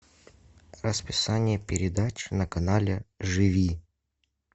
расписание передач на канале живи